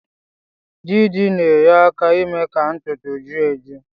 Didi na-enyeaka ime ka ntutu ju eju